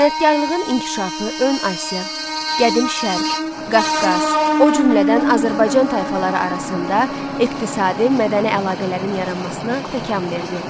Sənətkarlığın inkişafı Ön Asiya, Qədim Şərq, Qafqaz, o cümlədən Azərbaycan tayfaları arasında iqtisadi, mədəni əlaqələrin yaranmasına təkan verdi.